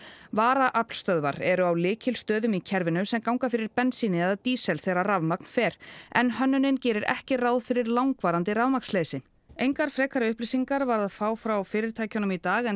varaaflstöðvar eru á lykilstöðum í kerfinu sem ganga fyrir bensíni eða dísilolíu þegar rafmagn fer en hönnunin gerir ekki ráð fyrir langvarandi rafmagnsleysi engar frekari upplýsingar var að fá frá fyrirtækjunum í dag en